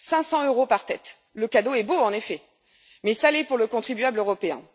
500 euros par tête, le cadeau est beau, en effet, mais salé pour le contribuable européen.